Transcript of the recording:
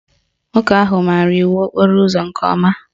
Nwoke ahụ maara iwu okporo ụzọ nke ọma